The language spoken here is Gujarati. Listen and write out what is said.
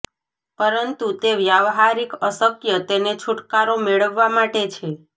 પરંતુ તે વ્યવહારિક અશક્ય તેને છૂટકારો મેળવવા માટે છે